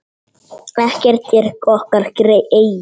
Ekkert er okkar eigið.